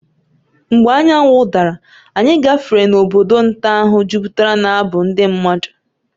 Mgbe anyanwụ dara, anyị gafere n’obodo nta ahụ jupụtara n’abụ ndị mmadụ.